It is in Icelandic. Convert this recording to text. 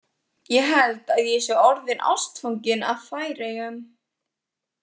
Ég held að ég sé orðinn ástfanginn af Færeyjum.